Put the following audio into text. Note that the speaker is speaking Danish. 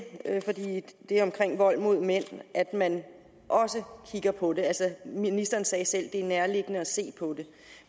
vold mod mænd at man også kigger på det altså ministeren sagde selv at det er nærliggende at se på det